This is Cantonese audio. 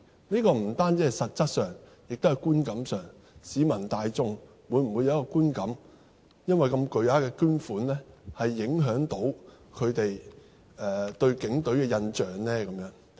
不單是實質上，亦是觀感上，市民大眾會否有一個觀感，會否因為如此巨額的捐款而影響他們對警隊的印象呢？